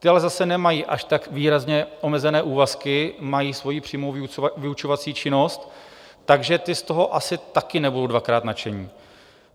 Ti ale zase nemají až tak výrazně omezené úvazky, mají svoji přímou vyučovací činnost, takže ti z toho asi také nebudou dvakrát nadšení.